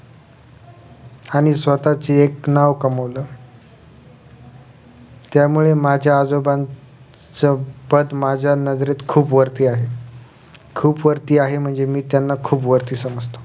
आणि स्वःचे एक नांव कमवलं त्यामुळे माझ्या आजोबांचं पद माझ्या नजरेत खुप वरती आहे खुप वरती आहे म्हणजे मी त्यांना खुप वरती समजतो